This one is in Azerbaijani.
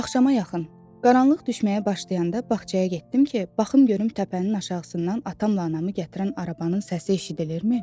Axşama yaxın, qaranlıq düşməyə başlayanda bağçaya getdim ki, baxım görüm təpənin aşağısından atamla anamı gətirən arabanın səsi eşidilirmi?